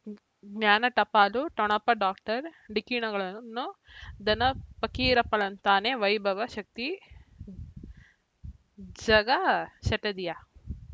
ಜ್ಞಾನ ಟಪಾಲು ಠೊಣಪ ಡಾಕ್ಟರ್ ಢಿಕ್ಕಿ ಣಗಳನು ಧನ ಫಕೀರಪ್ಪ ಳಂತಾನೆ ವೈಭವ ಶಕ್ತಿ ಝಗಾ ಷಟ್ಟದಿಯ